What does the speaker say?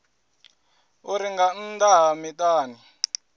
uri nga nnḓa ha miṱani